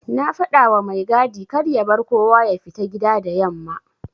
Na fadawa mai gadi karya bar kowa yafita gida da yamma.\